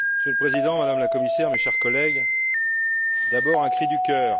Monsieur le Président, Madame la Commissaire, chers collègues, d'abord un cri du cœur.